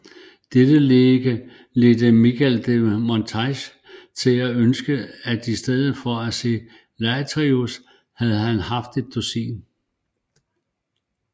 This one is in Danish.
Dette ledte Michel de Montaigne til at ønske at i stedet for en Laertius havde vi haft et dusin